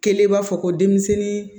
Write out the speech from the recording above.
Kelen b'a fɔ ko denmisɛnnin